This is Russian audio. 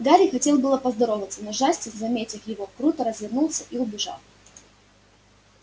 гарри хотел было поздороваться но джастин заметив его круто развернулся и убежал